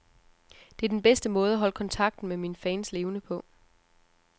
Det er den bedste måde at holde kontakten med mine fans levende på.